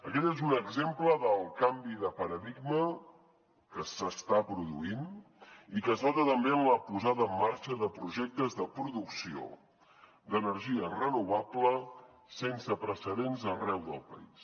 aquest és un exemple del canvi de paradigma que s’està produint i que es nota també en la posada en marxa de projectes de producció d’energia renovable sense precedents arreu del país